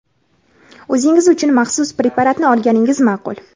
o‘zingiz uchun maxsus preparatni olganingiz ma’qul.